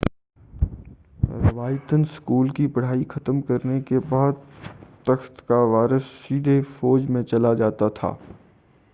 روایتاً school کی پڑھائی ختم کرنے کے بعد تخت کا وارث سیدھے فوج میں چلا جاتا تھا